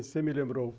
Você me lembrou.